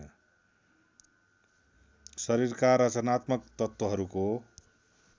शरीरका रचनात्मक तत्त्वहरुको